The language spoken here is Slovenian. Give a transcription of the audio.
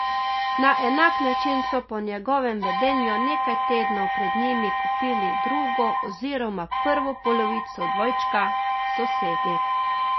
Na enak način so po njegovem vedenju nekaj tednov pred njimi kupili drugo oziroma prvo polovico dvojčka sosedi.